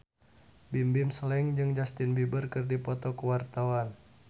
Bimbim Slank jeung Justin Beiber keur dipoto ku wartawan